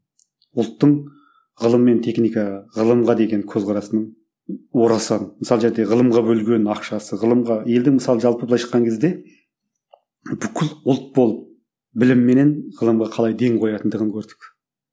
ұлттың ғылым мен техникаға ғылымға деген көзқарасының орасан мысалы ғылымға бөлген ақшасы ғылымға елдің мысалы жалпы былайша айтқан кезде бүкіл ұлт болып білім менен ғылымға қалай ден қоятындығын көрдік